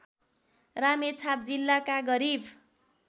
रामेछाप जिल्लाका गरिब